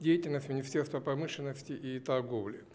деятельность министерства промышленности и торговли